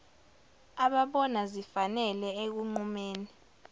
ababona zifanele ekunqumeni